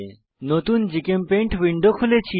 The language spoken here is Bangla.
নতুন জিচেমপেইন্ট উইন্ডো খুলেছি